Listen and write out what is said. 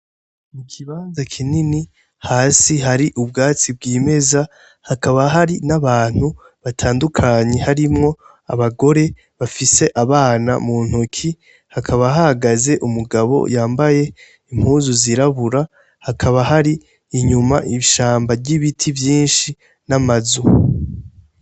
Mu gibanza kinini hasi hari ubwatsi bw'imeza hakaba hari n'abantu batandukanye harimwo abagore bafise abana mu ntoki hakaba hahagaze umugabo yambaye impuzu zirabura hakaba hari inyuma ishamba ry'ibiti vyinshi na manzu.